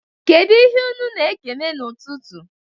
Kedụ ihe unu na-ekene n'ụtụtụ?